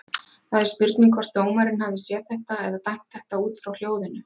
Það er spurning hvort dómarinn hafi séð þetta eða dæmt þetta út frá hljóðinu?